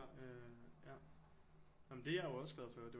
Øh ja jamen det er jeg jo også glad for det er